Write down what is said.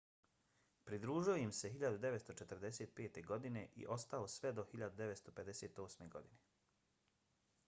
pridružio im se 1945. godine i ostao sve do 1958. godine